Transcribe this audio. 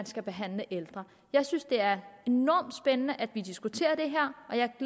skal behandle ældre jeg synes det er enormt spændende at vi diskuterer det her